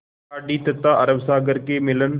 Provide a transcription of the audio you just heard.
खाड़ी तथा अरब सागर के मिलन